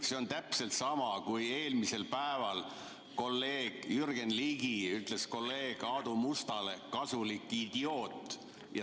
See on täpselt sama, kui eelmisel päeval kolleeg Jürgen Ligi ütles kolleeg Aadu Mustale "kasulik idioot".